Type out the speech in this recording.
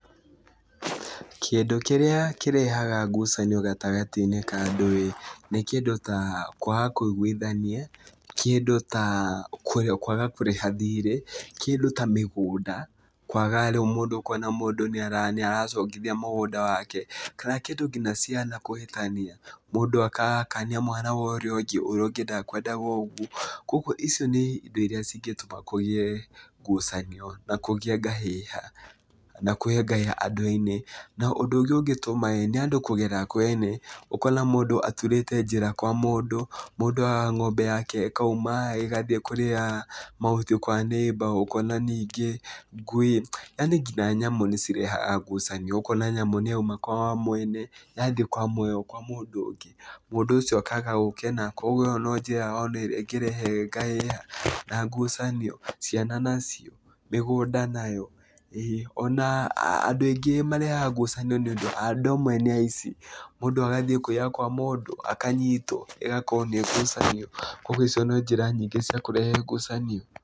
Kĩndũ kĩrĩa kĩrehaga ngucanio gatagĩ-inĩ ka andũ ĩ, nĩ kĩndũ ta kwaga kũigwithania, kĩndũ ta kwaga kũrĩha thirĩ, kĩndũ ta mĩgũnda, kwaga ũkona mũndũ nĩ aracongithia mũgũnda wake, kana kĩndũ ta ciana kũhĩtania, mũndũ agakania mwana wa ũrĩa ũngĩ, na ũrĩa ũngĩ ndakwendaga ũgwo, kũgwo icio nĩ indo iria cingĩtũma kũgĩe ngucanio na kũgĩa ngahĩha, na kũgĩa ngahĩha andũ-inĩ, ũndũ ũngĩ ũngĩtũma nĩ andũ kũgera kwene, ũkona mũndũ aturĩte njĩra kwa mũndũ , mũndũ a ngombe yake ĩgathiĩ kũrĩa mahuti kwa neighbour, ũkona ningĩ ngui, yani nginya nyamũ nĩ cirehaga ngucanio, ũkona nyamũ nĩ yauma kwa mwene, yathiĩ kwa mũndũ ũngĩ, mũndũ ũcio akaga gũkena, kogwo ĩyo nĩ njĩra ĩngĩrehe ngahĩha na ngucanio, ciana nacio, mĩgũnda nayo, andũ aingĩ marehaga ngucanio nĩ ũndũ andũ amwe nĩ aici , mũndũ agathiĩ kũiya kwa mũndũ, akanyitwo ĩgakorwo nĩ ngucanio, kogwo icio nĩ njĩra nyingĩ cia kũrehe ngucanio.